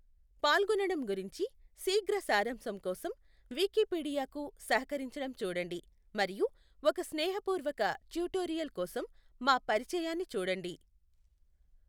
పాల్గొనడం గురించి శీఘ్ర సారాంశం కోసం, వికీపీడియాకు సహకరించడం చూడండి, మరియు ఒక స్నేహపూర్వక ట్యుటోరియల్ కోసం, మా పరిచయాన్ని చూడండి.